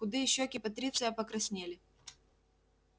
худые щёки патриция покраснели